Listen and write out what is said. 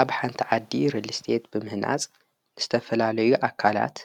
ኣብ ሓንቲ ዓዲ ሪልስቴት ብምህናፅ ንዝተፈላለዩ ኣካላት